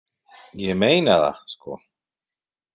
Ég meina það, sko.